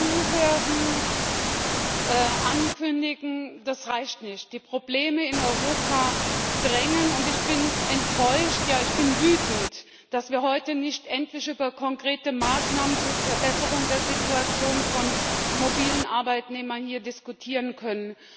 Zuhören, ankündigen das reicht nicht. Die Probleme in Europa drängen. Und ich bin enttäuscht, ja, ich bin wütend, dass wir heute nicht endlich über konkrete Maßnahmen zur Verbesserung der Situation von mobilen Arbeitnehmern diskutieren können.